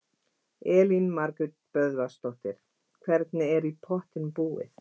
Elín Margrét Böðvarsdóttir: Hvernig er í pottinn búið?